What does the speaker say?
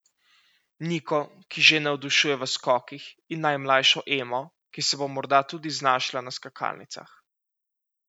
Niko, ki že navdušuje v skokih, in najmlajšo Emo, ki se bo morda tudi znašla na skakalnicah.